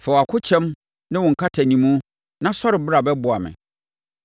Fa wʼakokyɛm ne wo nkatanimu; na sɔre bra bɛboa me.